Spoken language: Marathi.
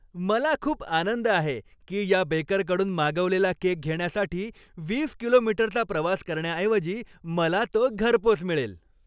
मला खूप आनंद आहे की या बेकरकडून मागवलेला केक घेण्यासाठी वीस किलोमीटरचा प्रवास करण्याऐवजी मला तो घरपोच मिळेल.